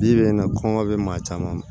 Bi bi in na kɔngɔ be maa caman